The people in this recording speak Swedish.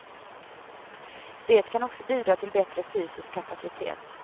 Det kan också bidra till bättre fysisk kapacitet.